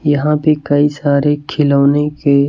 यहां पे कई सारे खिलौने के--